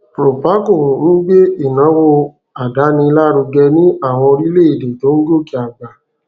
proparco ń gbé ìnáwó àdáni lárugẹ ní àwọn orílèèdè tó ń gòkè àgbà